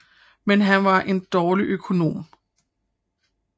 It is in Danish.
Men han var en dårlig økonom